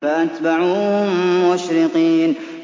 فَأَتْبَعُوهُم مُّشْرِقِينَ